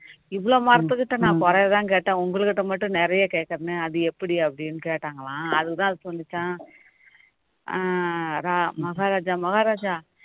இவ்வளவு மரத்துக்கிட்ட நான் குறையதான் கேட்டேன் உங்கள்கிட்ட மட்டும் நிறைய கேட்கிறனே அது எப்படி அப்படின்னு கேட்டாங்களாம் அதுக்குதான் அது சொல்லுச்சாம் அஹ் ரா~ மகாராஜா மகாராஜா